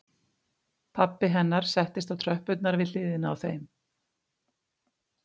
Pabbi hennar settist á tröppurnar við hliðina á þeim